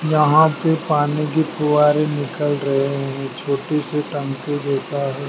यहां से पानी की फुहारे निकल रहे हैं छोटी से टंकी जैसा है।